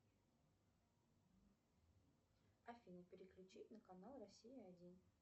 афина переключи на канал россия один